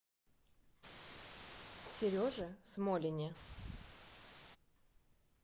сереже смолине